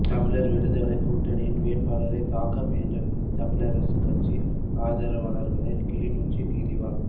தமிழர் விடுதலைக் கூட்டணியின் வேட்பாளரைத் தாக்க முயன்ற தமிழரசுக் கட்சி ஆதரவாளர்களை கிளிநொச்சி நீதவான்